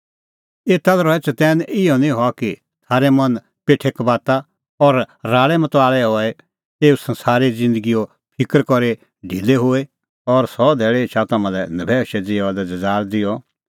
एता लै रहै चतैन इहअ निं हआ कि थारै मन पेठे कबाता और राल़ैमताल़ै हई एसा संसारे ज़िन्दगीओ फिकर करी ढिलै होए और सह धैल़ी एछा तम्हां लै नभैऊशै ज़िऊआ लै ज़ज़ाल़ ज़िहअ